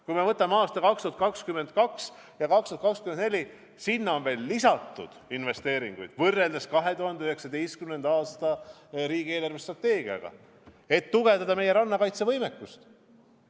Kui me võtame aastad 2022–2024, siis sinna on veel lisatud investeeringuid võrreldes 2019. aasta riigi eelarvestrateegiaga, et tugevdada meie rannakaitsevõimekust.